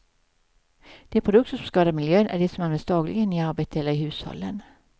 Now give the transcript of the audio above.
De produkter som skadar miljön är de som används dagligen i arbetet eller i hushållen.